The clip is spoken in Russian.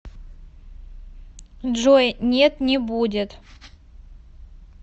джой нет не будет